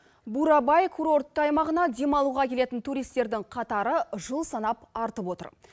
бурабай курортты аймағына демалуға келетін туристердің қатары жыл санап артып отыр